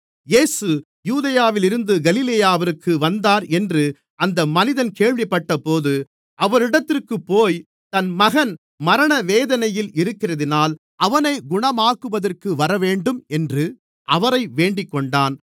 இயேசு யூதேயாவிலிருந்து கலிலேயாவிற்கு வந்தார் என்று அந்த மனிதன் கேள்விப்பட்டபோது அவரிடத்திற்குப்போய் தன் மகன் மரணவேதனையில் இருக்கிறதினால் அவனைக் குணமாக்குவதற்கு வரவேண்டும் என்று அவரை வேண்டிக்கொண்டான்